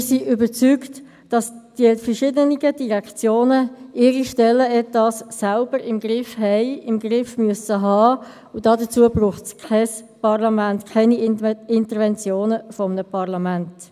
Wir sind überzeugt, dass die verschiedenen Direktionen ihre Stellenetats selbst im Griff haben, im Griff haben müssen, und dazu braucht es kein Parlament, keine Interventionen eines Parlaments.